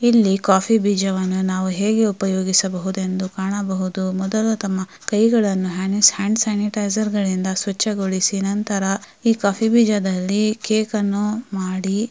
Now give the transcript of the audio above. ಇಲ್ಲಿ ಕಾಫಿ ಬೀಜವನ್ನು ನಾವು ಹೇಗೆ ಉಪಯೋಗಿಸಬಹುದೆಂದು ಕಾಣಬಹುದು. ಮೊದಲು ತಮ್ಮ ಕೈಗಳನ್ನು ಹ್ಯಾಂಡ್ ಸ್ಯಾನಿಟೈಜರನಿಂದ ಸ್ವಚ್ಛಗೊಳಿಸಿ ನಂತರ ಈ ಕಾಫಿ ಬೀಜದಲ್ಲಿ ಕೇಕ್ ಅನ್ನು ಮಾಡಿ--